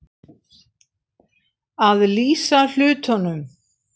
Að lýsa hlutunum